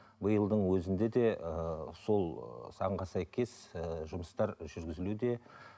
биылдың өзінде де ыыы сол заңға сәйкес ыыы жұмыстар жүргізілуде